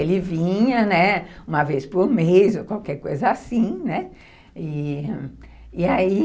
Ele vinha, né, uma vez por mês ou qualquer coisa assim, né. E, e ai,